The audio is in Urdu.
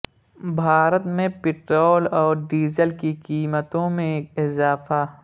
بھارت میں پٹرول اور ڈیزل کی قیمتوں میں اضافہ